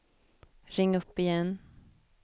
ring upp igen